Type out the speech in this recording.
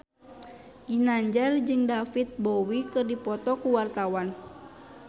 Ginanjar jeung David Bowie keur dipoto ku wartawan